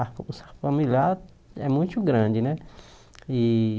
A famíliar é muito grande, né? E